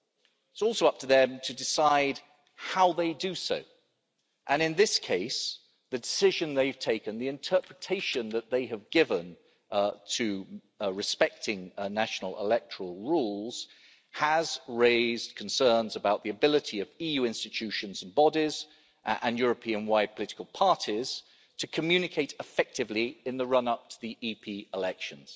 It's also up to them to decide how they do so, and in this case the decision they've taken, the interpretation that they have given to respecting national electoral rules has raised concerns about the ability of EU institutions and bodies and Europe-wide political parties to communicate effectively in the run up to the EP elections.